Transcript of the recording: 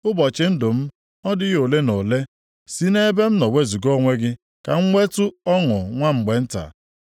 Ụbọchị ndụ m ọ dịghị ole na ole? Si nʼebe m nọ wezuga onwe gị ka m nwetu ọṅụ nwa mgbe nta,